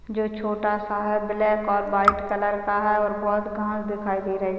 जो छोटा सा है ब्लैक और व्हाइट कलर का है और बहुत घास दिखाई दे रही --